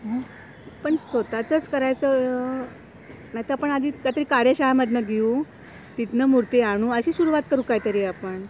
पण स्वतःच्याच करायचं, नाही तर आपण आधी काहीतरी कार्यशाळा मधनं घेऊ तिथनं मूर्ती, आणू अशी सुरुवात करून काही तरी आपण.